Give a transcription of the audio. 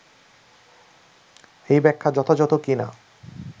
এই ব্যাখ্যা যথাযথ কি না